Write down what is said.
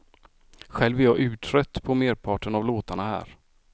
Själv är jag urtrött på merparten av låtarna här.